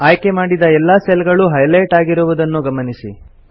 ಆಯ್ಕೆ ಮಾಡಿದ ಎಲ್ಲಾ ಸೆಲ್ ಗಳು ಹೈಲೈಟ್ ಆಗಿರುದನ್ನು ಗಮನಿಸಿ